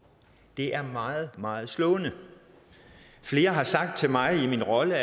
det er meget meget slående flere har sagt til mig i min rolle